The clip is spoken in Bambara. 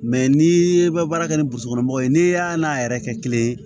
n'i ye bara kɛ ni mɔgɔw ye n'i y'a n'a yɛrɛ kɛ kelen ye